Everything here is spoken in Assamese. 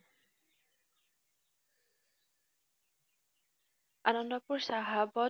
আনন্দপুৰ চাহাবত